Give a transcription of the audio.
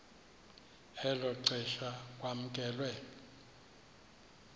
elo xesha kwamkelwe